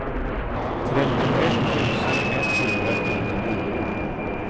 trettioett tusen etthundrasjuttionio